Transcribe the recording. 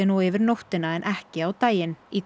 og yfir nóttina en ekki á daginn í